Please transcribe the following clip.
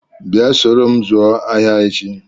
Bịa soro m zụọ ahịa echi!